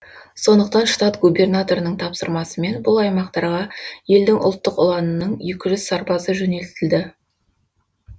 сондықтан штат губернаторының тапсырмасымен бұл аймақтарға елдің ұлттық ұланының екі жүз сарбазы жөнелтілді